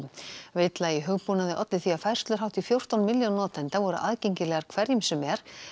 villa í hugbúnaði olli því að færslur hátt í fjórtán milljón notenda voru aðgengilegar hverjum sem er